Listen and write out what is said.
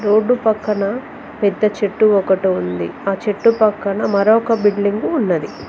road పక్కన పెద్ద చెట్టు ఒకటి ఉంది ఆ చెట్టు పక్కన మరొక బిల్డింగ్ ఉన్నది